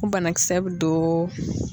O banakisɛ bɛ don.